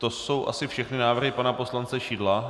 To jsou asi všechny návrhy pana poslance Šidla.